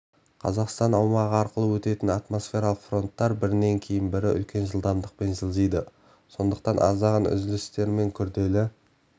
қазақстанның аумағы арқылы өтетін атмосфералық фронттар бірінен кейін бірі үлкен жылдамдықпен жылжиды сондықтан аздаған үзілістермен күрделі